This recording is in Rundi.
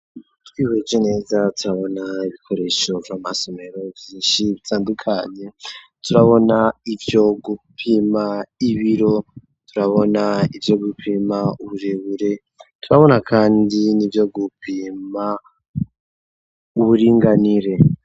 Twihweje neza turabona bikoresho vy'amasomero vyinshi bitandukanye turabona ivyo gupima ibiro, turabona ivyo gupima uburebure, turabona kandi n'ibiyo gupima uburinganire.